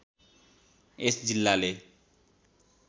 यस जिल्लाले